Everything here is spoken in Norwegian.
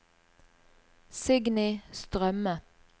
Signy Strømme